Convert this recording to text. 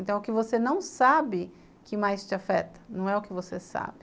Então o que você não sabe que mais te afeta, não é o que você sabe.